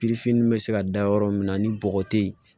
bɛ se ka da yɔrɔ min na ni bɔgɔ tɛ yen